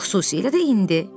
Xüsusilə də indi.